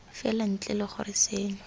fela ntle le gore seno